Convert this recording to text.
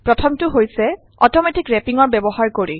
প্ৰথমটো হৈছে অট ৰেপিং ৰ ব্যৱহাৰ কৰি